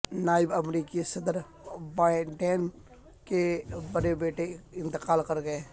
نائب امریکی صدر بائیڈن کے بڑے بیٹے انتقال کر گئے